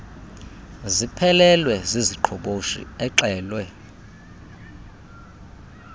ziphelelwe ziziqhoboshi exelwe